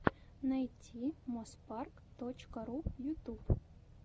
найти моспарк точка ру ютуб